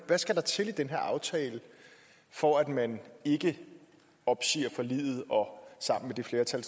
skal der til i den her aftale for at man ikke opsiger forliget og sammen med det flertal